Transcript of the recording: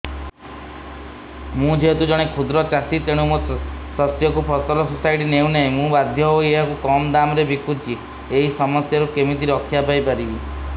ମୁଁ ଯେହେତୁ ଜଣେ କ୍ଷୁଦ୍ର ଚାଷୀ ତେଣୁ ମୋ ଶସ୍ୟକୁ ଫସଲ ସୋସାଇଟି ନେଉ ନାହିଁ ମୁ ବାଧ୍ୟ ହୋଇ ଏହାକୁ କମ୍ ଦାମ୍ ରେ ବିକୁଛି ଏହି ସମସ୍ୟାରୁ କେମିତି ରକ୍ଷାପାଇ ପାରିବି